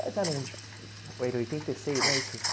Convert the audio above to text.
Quais eram os... era oitenta e seis, não é isso?